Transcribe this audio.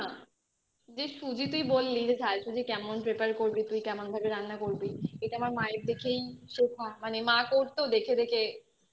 যে সুজি তুই বললি যে আজকে যে কেমন prepared করবি তুই কেমন ভাবে রান্না করবি এটা আমার মায়ের দেখেই শিখেছি মানে মা করতো দেখে দেখে